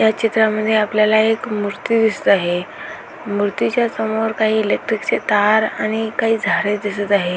या चित्रामध्ये आपल्याला एक मुर्ती दिसत आहे मूर्तीच्या समोर काही इलेक्ट्रिकचे तार आणि काही झाडे दिसत आहे.